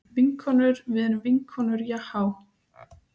Vinkonur við erum vinkonur jahá.